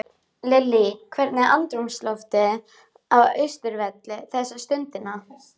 Lillý, hvernig er andrúmsloftið á Austurvelli þessa stundina?